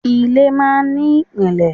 Ilé máa ń ní ìpìlẹ̀.